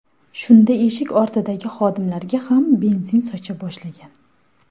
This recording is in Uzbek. Shunda eshik ortidagi xodimlarga ham benzin socha boshlagan.